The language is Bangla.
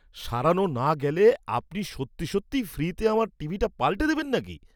সারানো না গেলে আপনি সত্যি সত্যিই ফ্রিতে আমার টিভিটা পাল্টে দেবেন নাকি?